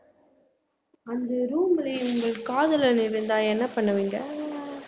அந்த room ல உங்கள் காதலன் இருந்தா என்ன பண்ணுவீங்க